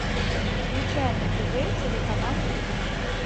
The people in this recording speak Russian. включай на тв телеканал калейдоскоп